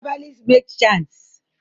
Herbalist make chants